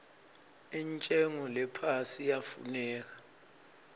intshengo lephasi iyafuneka